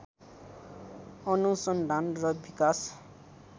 अनुसन्धान र विकास